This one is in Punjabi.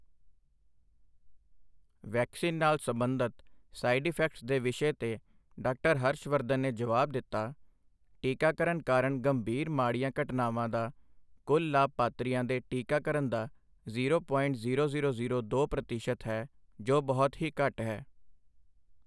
ਵੈਕਸੀਨ ਨਾਲ ਸੰਬੰਧਤ ਸਾਈ਼ਡ ਇਫੈਕਟਸ ਦੇ ਵਿਸ਼ੇ ਤੇ ਡਾਕਟਰ ਹਰਸ਼ ਵਰਧਨ ਨੇ ਜਵਾਬ ਦਿੱਤਾ, ਟੀਕਾਕਰਨ ਕਾਰਣ ਗੰਭੀਰ ਮਾਡ਼ੀਆਂ ਘਟਨਾਵਾਂ ਦਾ ਕੁੱਲ ਲਾਭਪਾਤਰੀਆਂ ਦੇ ਟੀਕਾਕਰਨ ਦਾ zero point zero zero zero ਦੋ ਪ੍ਰਤੀਸ਼ਤ ਹੈ, ਜੋ ਬਹੁਤ ਹੀ ਘੱਟ ਹੈ।